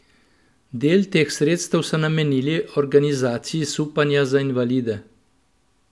Del teh sredstev so namenili organizaciji supanja za invalide.